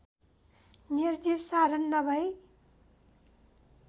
निर्जीव साधन नभई